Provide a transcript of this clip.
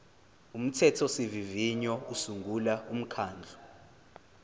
umthethosivivinyo usungula umkhandlu